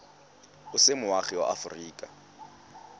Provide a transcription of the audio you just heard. o se moagi wa aforika